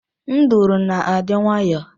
Nduru na-adị nwayọọ